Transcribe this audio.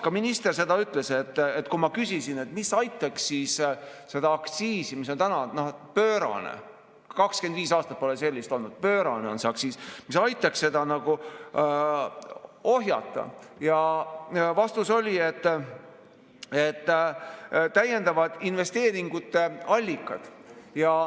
Kui ma küsisin, mis aitaks seda aktsiisi ohjata, mis on täna pöörane, 25 aastat pole sellist olnud, pöörane on see aktsiis, siis minister ütles, et täiendavad investeeringute allikad.